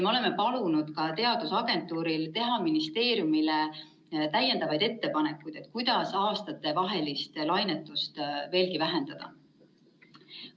Me oleme palunud ka teadusagentuuril teha ministeeriumile ettepanekuid, kuidas aastatevahelist lainetust veelgi vähendada.